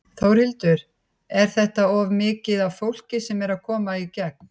Þórhildur: Er þetta of mikið af fólki sem er að koma í gegn?